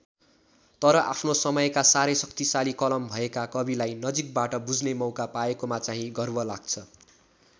तर आफ्नो समयका साह्रै शक्तिशाली कलम भएका कविलाई नजिकबाट बुझ्ने मौका पाएकोमा चाहिँ गर्व लाग्छ।